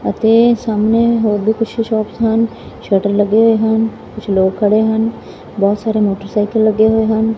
ਅਤੇ ਸਾਹਮਣੇ ਹੋਰ ਵੀ ਪਿੱਛੇ ਸ਼ੋਪਸ ਹਨ ਸ਼ਟਰ ਲੱਗੇ ਹੋਏ ਹਨ ਕੁਝ ਲੋਕ ਖੜੇ ਹਨ ਬਹੁਤ ਸਾਰੇ ਮੋਟਰਸਾਈਕਲ ਲੱਗੇ ਹੋਏ ਹਨ।